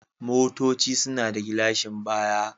Motoci suna da gilashin baya.